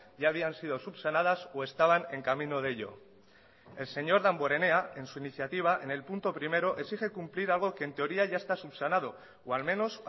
ya habían sido subsanadas o estaban en camino de ello el señor damborenea en su iniciativa en el punto primero exige cumplir algo que en teoría ya está subsanado o al menos